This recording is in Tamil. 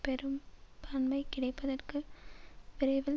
பெரும்பான்மை கிடைப்பதற்கு விரைவில்